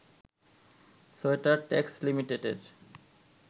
sweater tax লিমিটেডের